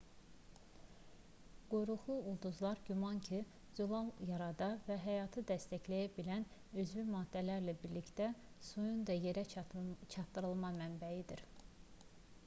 quyruqlu ulduzlar güman ki zülal yarada və həyatı dəstəkləyə bilən üzvi maddələrlə birlikdə suyun da yerə çatdırılma mənbəyidir